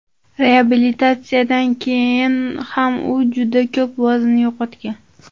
Reabilitatsiyadan keyin ham u juda ko‘p vazn yo‘qotgan.